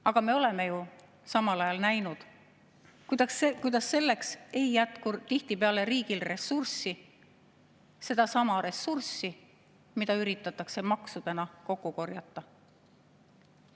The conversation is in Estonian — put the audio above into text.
Aga me oleme ju samal ajal näinud, kuidas selleks ei jätku tihtipeale riigil ressurssi, sedasama ressurssi, mida üritatakse maksudena kokku korjata.